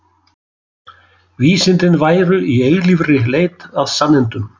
Vísindin væru í eilífri leit að sannindum.